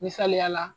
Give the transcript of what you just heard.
Misaliyala